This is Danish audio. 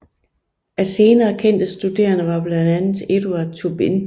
Af senere kendte studerende var blandt andet Eduard Tubin